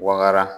Waga